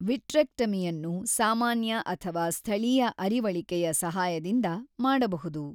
ವಿಟ್ರೆಕ್ಟಮಿಯನ್ನು ಸಾಮಾನ್ಯ ಅಥವಾ ಸ್ಥಳೀಯ ಅರಿವಳಿಕೆಯ ಸಹಾಯದಿಂದ ಮಾಡಬಹುದು.